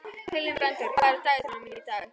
Hildibrandur, hvað er á dagatalinu mínu í dag?